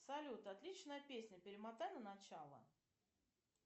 салют отличная песня перемотай на начало